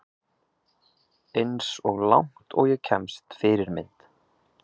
Eins og langt og ég kemst Fyrirmynd?